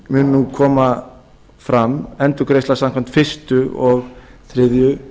mun nú koma fram endurgreiðsla samkvæmt fyrstu og þriðju